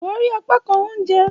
Ṣawari apakan ounjẹ!